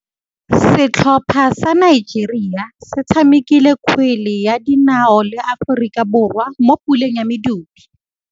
Setlhopha sa Nigeria se tshamekile kgwele ya dinaô le Aforika Borwa mo puleng ya medupe.